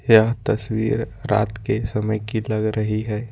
यह तस्वीर रात के समय की लग रही है।